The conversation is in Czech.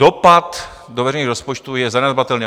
Dopad do veřejných rozpočtů je zanedbatelný.